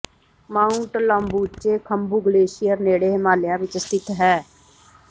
Mount Lobuche Khumbu glacier ਨੇੜੇ ਹਿਮਾਲਿਆ ਵਿੱਚ ਸਥਿਤ ਹੈ